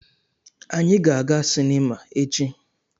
Anyị ga-aga sinima echi.